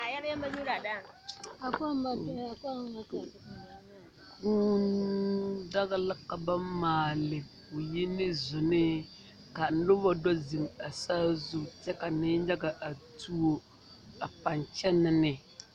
Kûû daga la ka ba maale ka o yi ne sonne ka noba do zeŋ a saa zu kuɛ ka nenyaga a tuo a paŋ kyɛnɛ ne